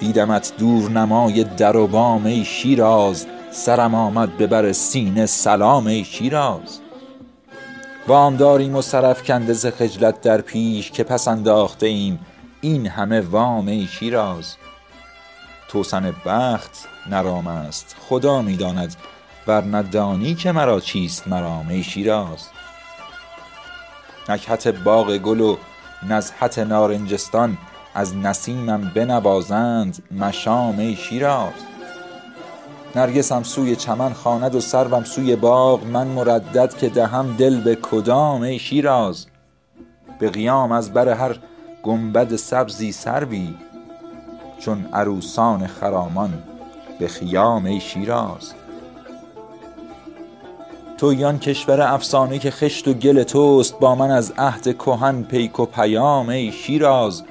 دیدمت دورنمای در و بام ای شیراز سرم آمد به بر سینه سلام ای شیراز وامداریم و سر افکنده ز خجلت در پیش که پس انداخته ایم این همه وام ای شیراز توسن بخت نه رام است خدا می داند ورنه دانی که مرا چیست مرام ای شیراز نکهت باغ گل و نزهت نارنجستان از نسیمم بنوازند مشام ای شیراز نرگسم سوی چمن خواند و سروم سوی باغ من مردد که دهم دل به کدام ای شیراز به قیام از بر هر گنبد سبزی سروی چون عروسان خرامان به خیام ای شیراز تویی آن کشور افسانه که خشت و گل تست با من از عهد کهن پیک و پیام ای شیراز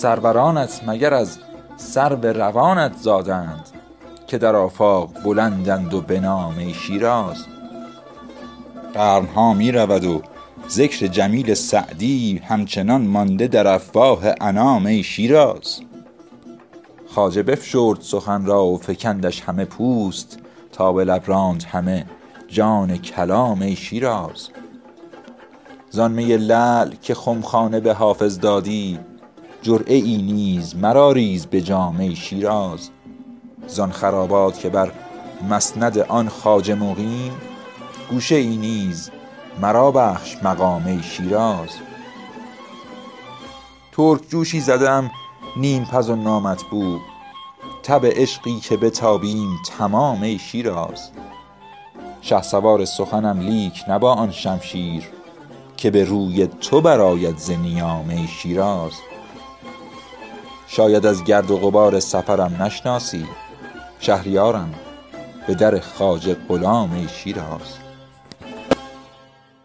سرورانت مگر از سرو روانت زادند که در آفاق بلندند و بنام ای شیراز قرن ها می رود و ذکر جمیل سعدی همچنان مانده در افواه انام ای شیراز خواجه بفشرد سخن را و فکندش همه پوست تا به لب راند همه جان کلام ای شیراز زان می لعل که خمخانه به حافظ دادی جرعه ای نیز مرا ریز به جام ای شیراز زان خرابات که بر مسند آن خواجه مقیم گوشه ای نیز مرا بخش مقام ای شیراز پختگان سوخته خوانندم و انصافم کو آتشی را که تویی من هله خام ای شیراز ترک جوشی زده ام نیم پز و نامطبوع تب عشقی که بتابیم تمام ای شیراز شهسوار سخنم لیک نه با آن شمشیر که به روی تو برآید ز نیام ای شیراز شاید از گرد و غبار سفرم نشناسی شهریارم به در خواجه غلام ای شیراز